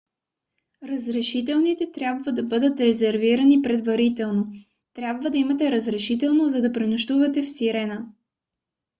разрешителните трябва да бъдат резервирани предварително. трябва да имате разрешително за да пренощувате в сирена